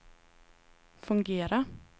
fungera